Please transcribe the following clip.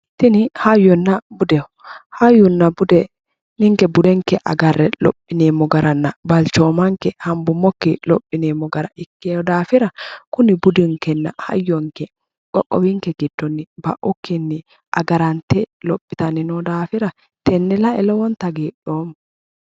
Tini hayyonna hayyonna budeho. hayyonna bude ninke budeenke agarre lophineemmo garanna balchoomanke hambummoki lophineemmo gara ikkewo daafira kuni budenkenna hayyonke giddonni baukkinni darante lophitanni noo daafira tenne lae lowonta hagiidhoomma.